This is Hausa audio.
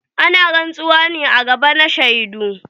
Ana rantsuwa ne a gaba na shaidu.